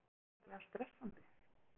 Er það ekki gríðarlega stressandi?